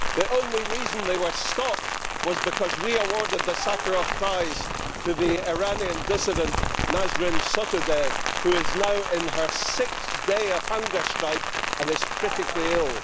The only reason they were stopped was because we awarded the Sakharov Prize to the Iranian dissident, Nasrin Sotoudeh, who is now on her sixth day of hunger strike and is critically ill.